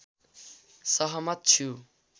सहमत छु